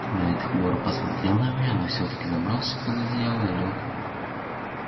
найд хмуро посмотрел на меня но всё-таки забрался под одеяло лёг